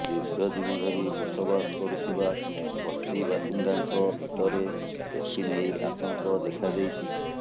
ଦୀର୍ଘଦିନ ଧରି ବସବାସ କରୁଥିବା ବସ୍ତିବାସିନ୍ଦାଙ୍କ ଭିତରେ ଏଥିନେଇ ଆତଙ୍କ ଦେଖାଦେଇଛି